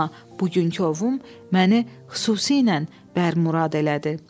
Amma bugünkü ovum məni xüsusilə bərmurad elədi.